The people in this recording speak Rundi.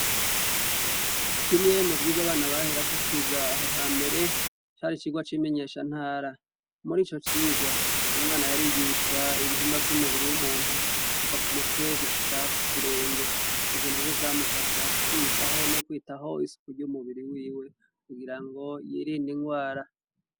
Kimwe mu byigwa abana baherako kwiga aho ha mbere cari cigwa c'imenyesha ntara muri ico cigwa umwana yarigishwa ibihimba vy'umubiri w'umuntu kuva ku mutwe gushika ku kirenge ibyo na byo byamufasha kwiyitaho n'ukwitaho isuku ry'umubiri wiwe kugira ngo yirinde ingwara.